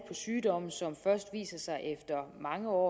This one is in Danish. sygdomme som først viser sig mange år